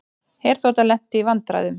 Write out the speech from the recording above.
Herþota lenti í vandræðum